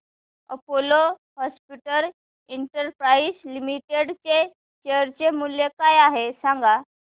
Apollo hospitals enterprise limited चे share मूल्य काय आहे सांगा